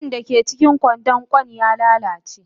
Kwai dake cikin kwandon kwan ya lalace.